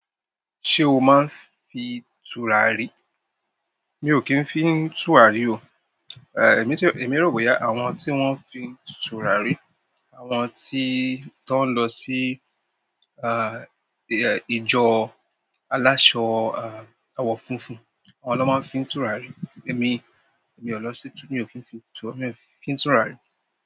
Ṣé o ma ń fi tùràrí? Mi ò kí ń fín tùràrí o. Èmi ti, èmí rò bóyá àwọn tí wọ́n ń fin tùràrí, àwọn tí, tọ́ ń lọ sí, ah, ìjọ aláṣọ, ah, àwọ̀ funfun. Àwọn ló máa ń fín tùràrí. Èmi, èmi òlọ sí, mi ò kí ń fín tùrà, mi ò kí ń fín tùràrí.